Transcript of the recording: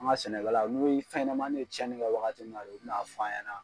An ka sɛnɛkalaw n'u fɛnɲɛmani ye cɛni kɛ wagati min n'a de u be sɔrɔ ka na fɔ an ɲɛna